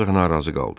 Ancaq narazı qaldı.